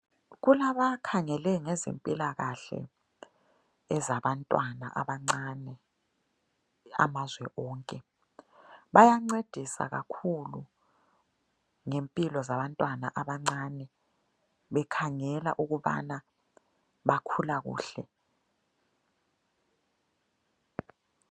Kulabakhangele ngezempilakahle ezabantwana abancane amazwe onke. Bayancedisa kakhulu ngempilo zabantwana abancane bekhangela ukubana bakhula kuhle.